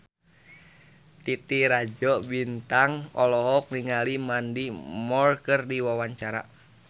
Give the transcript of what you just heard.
Titi Rajo Bintang olohok ningali Mandy Moore keur diwawancara